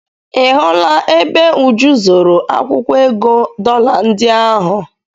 Ị hụla ebe Uju zoro akwụkwọ ego dọla ndị ahụ?